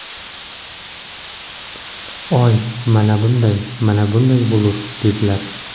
Oy mana bunday, mana bunday bo‘lur’, dedilar.